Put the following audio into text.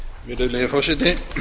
virðulegi forseti hér